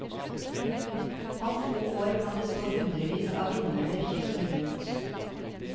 Om få år kan det stå hundrevis av vindmøller kysten rundt.